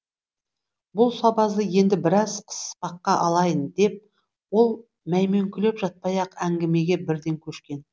бұл сабазды енді біраз қыспаққа алайын деп ол мәймөңкелеп жатпай ақ әңгімеге бірден көшкен